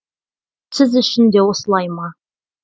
сіз үшін де осылай ма